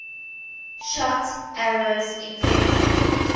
shot arrows infected